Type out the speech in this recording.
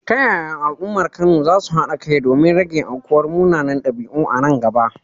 Ta yaya al’ummar Kano za su haɗa kai domin rage aukuwar munanan ɗabi’u a nan gaba?